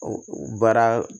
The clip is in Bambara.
O baara